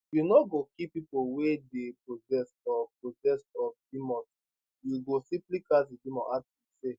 you no go kill pipo wey dey possessed or oppressed of demons you go simply cast di demons out e say